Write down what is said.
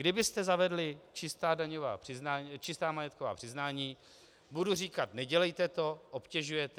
Kdybyste zavedli čistá majetková přiznání, budu říkat "nedělejte to, obtěžujete".